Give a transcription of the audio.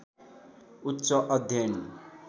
उच्च अध्ययन